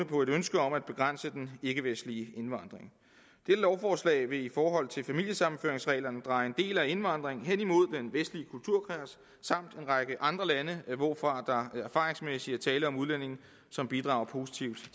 på et ønske om at begrænse den ikkevestlige indvandring dette lovforslag vil i forhold til familiesammenføringsreglerne dreje en del af indvandringen hen imod den vestlige kulturkreds samt en række andre lande hvorfra der erfaringsmæssigt er tale om udlændinge som bidrager positivt